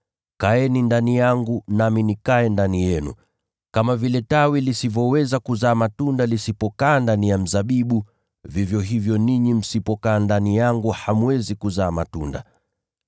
Kaeni ndani yangu, nami nikae ndani yenu. Kama vile tawi lisivyoweza kuzaa matunda lisipokaa ndani ya mzabibu, vivyo hivyo ninyi msipokaa ndani yangu hamwezi kuzaa matunda.